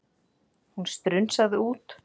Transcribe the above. Hún strunsaði út.